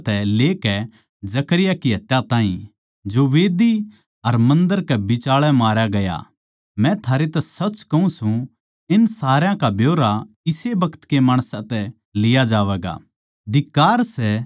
हाबिल की हत्या तै लेकै जकर्याह की हत्या ताहीं जो मंढही अर मन्दर कै बिचाळै मारया गया मै थारै तै सच कहूँ सूं इन सारया का ब्यौरा इस्से बखत के माणसां तै लिया जावैगा